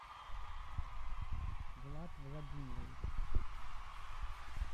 влад владимирович